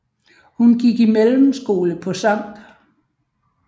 Han gik i mellemskole på Skt